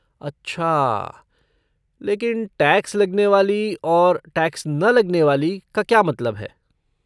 अच्छा, लेकिन 'टैक्स लगने वाली' और 'टैक्स न लगने वाली' का क्या मतलब है?